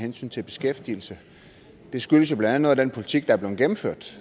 hensyn til beskæftigelse det skyldes jo blandt andet noget af den politik der er blevet gennemført